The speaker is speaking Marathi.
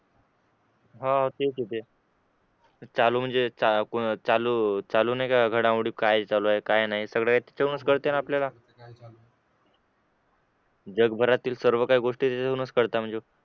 हा तेच ते चालू म्हणजे चा चालू नाही करत त्या घडामोडी चालू काय चालू आहे काय नाही सगळे याच्यातून कळतात आपल्याला जगभरातील सर्व काही गोष्टी त्यातूनच कळतात